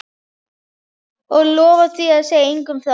Og lofa að segja engum frá því?